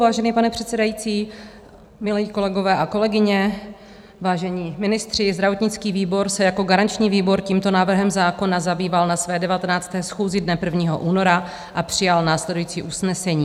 Vážený pane předsedající, milí kolegové a kolegyně, vážení ministři, zdravotnický výbor se jako garanční výbor tímto návrhem zákona zabýval na své 19. schůzi dne 1. února a přijal následující usnesení: